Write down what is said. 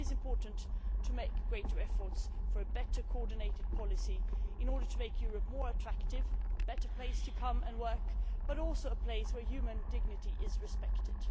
But it is important to exert greater efforts for a better coordinated policy in order to make Europe more attractive, a better place to come and work, but also a place where human dignity is respected.